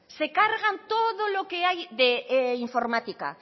se cargan todo lo que hay de informática